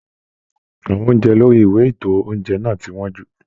Àwọn oúnjẹ lórí ìwé ito oúnjẹ náà ti wọn jú.